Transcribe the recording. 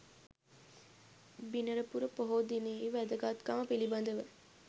බිනරපුර පොහෝ දිනයෙහි වැදගත්කම පිළිබඳව